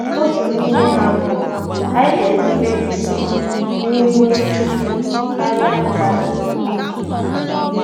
Otu n’ime ha bụ: “Ànyị ga-erube isi n’ihu Chukwu karịa mmadụ.”